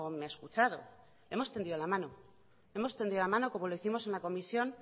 me ha escuchado hemos tendido la mano como lo hicimos en la comisión